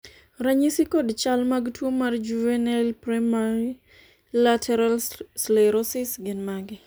ranyisi kod chal mag tuo mar Juvenile primary lateral sclerosis gin mage?